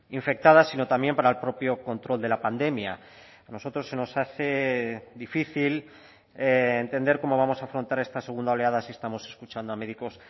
infectadas sino también para el propio control de la pandemia a nosotros se nos hace difícil entender cómo vamos a afrontar esta segunda oleada si estamos escuchando a médicos